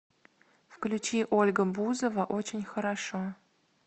включи ольга бузова очень хорошо